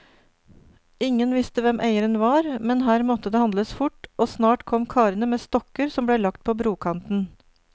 Ingen visste hvem eieren var, men her måtte det handles fort, og snart kom karene med stokker som ble lagt på brokanten.